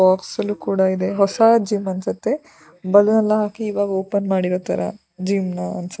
ಬೋಕ್ಸಲ್ಲು ಕೂಡ ಇದೆ ಹೊಸಾ ಜಿಮ್ಮ್ ಅನ್ಸುತ್ತೆ ಬಲೂನ ಹಾಕಿ ಇವಾಗ ಓಪನ್ ಮಾಡಿರೋತರ ಜಿಮ್ಮ್ ಅನ್ಸುತ್ತೆ.